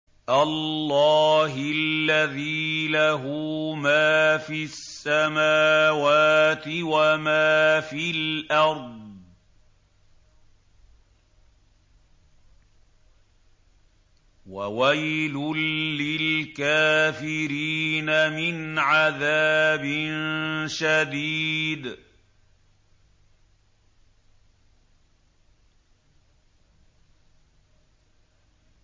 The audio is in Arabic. اللَّهِ الَّذِي لَهُ مَا فِي السَّمَاوَاتِ وَمَا فِي الْأَرْضِ ۗ وَوَيْلٌ لِّلْكَافِرِينَ مِنْ عَذَابٍ شَدِيدٍ